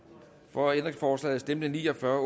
for ændringsforslaget stemte ni og fyrre